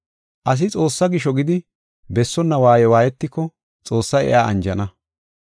Asi Xoossaa gisho gidi bessonna waaye waayetiko Xoossay iya anjana.